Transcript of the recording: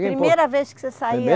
Primeira vez que você saía?